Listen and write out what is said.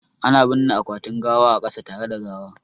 Ana binne akwatin gawa a kasa tare da gawa